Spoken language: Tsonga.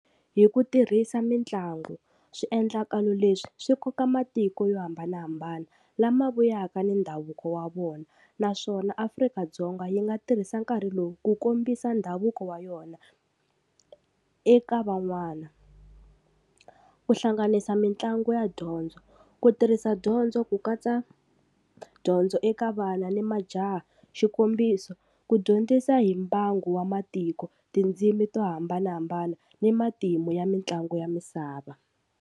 Hi ku tirhisa mitlangu, swiendlakalo leswi swi koka matiko yo hambanahambana lama vuyaka ni ndhavuko wa vona, naswona Afrika-Dzonga yi nga tirhisa nkarhi lowu ku kombisa ndhavuko wa yona eka van'wana. Ku hlanganisa mitlangu ya dyondzo, ku tirhisa dyondzo ku katsa dyondzo eka vana ni majaha xikombiso ku dyondzisa hi mbangu wa matiko tindzimi to hambanahambana ni matimu ya mitlangu ya misava.